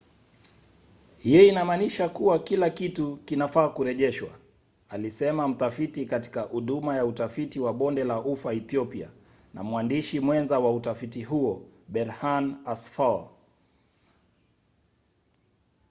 hiyo inammanisha kuwa kila kitu kinafaa kurejeshwa alisema mtafiti katika huduma ya utafiti wa bonde la ufa ethiopia na mwandishi mwenza wa utafiti huo berhane asfaw